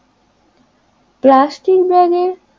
plastic ব্যাগের,